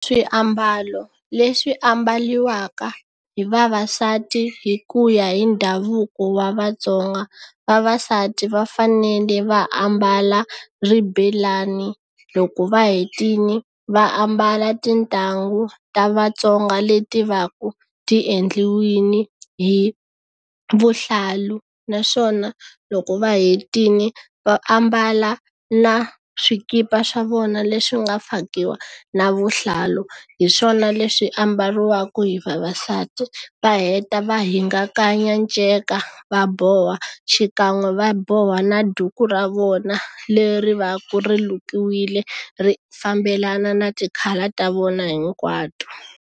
Swiambalo leswi ambariwaka hi vavasati hi ku ya hi ndhavuko wa vatsonga vavasati va fanele va ambala ribelani loko va hetile va ambala tintangu ta vatsonga leti va ku ti endliwile hi vuhlalu naswona loko va hetile va ambala na swikipa swa vona leswi nga fakiwa na vuhlalu hi swona leswi ambariwaka hi vavasati va heta va hingakanya nceka va boha xikan'we va boha na duku ra vona leri va ku ri lukiwile ri fambelana na ti-colour ta vona hinkwato.